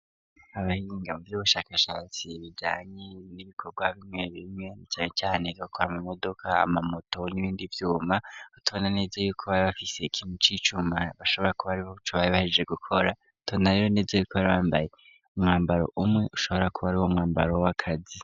Abahiringa mu vy'ubushakashatsi bijanye n'ibikorwa bimwe bimwe cane cane bakora ama modoka ama moto n'ibindi vyuma tubona neza yuko bari bafise ikintu c'icuma bashobora kuba ari boba bahejeje gukora tubona rero neza yuko bari bambaye umwambaro umwe ushobora kuba ari uwo mwambaro w'akazi.